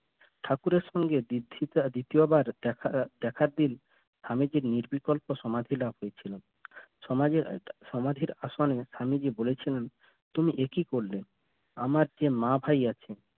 ঠাকুরের সঙ্গে দ্বিতীয় বার দেখা~ দেখার দিন আমি নিরবিকল্পে সমাধি লাভ হয়েছিলাম সমাধি~ সমাধিন আসনে আমি মা বলেছিলাম তুমি এ কি করলে আমার যে মা ভাই আছে